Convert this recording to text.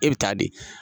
E bɛ taa di